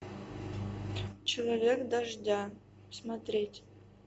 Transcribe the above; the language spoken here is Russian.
человек дождя смотреть